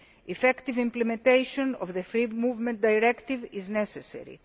Effective implementation of the Free Movement Directive is necessary.